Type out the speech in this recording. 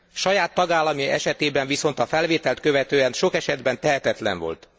Saját tagállamai esetében viszont a felvételt követően sok esetben tehetetlen volt.